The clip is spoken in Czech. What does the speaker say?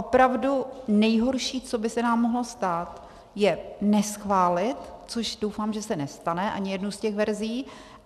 Opravdu nejhorší, co by se nám mohlo stát, je neschválit, což doufám, že se nestane ani jednu z těch verzí.